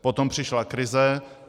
Potom přišla krize.